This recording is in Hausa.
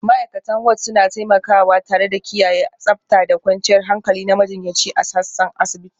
Ma'aikatan Ward suna taimakawa tare da kiyaye tsabta da kwanciyar hankali na majiyyaci a sassan asibiti